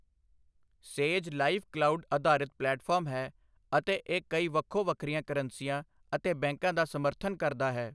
ਸੇਜ Live' cloud ਅਧਾਰਿਤ platform ਹੈ ਅਤੇ ਇਹ ਕਈ ਵੱਖੋ ਵੱਖਰੀਆਂ ਕਰੰਸੀਆਂ ਅਤੇ ਬੈਂਕਾਂ ਦਾ ਸਮਰਥਨ ਕਰਦਾ ਹੈ।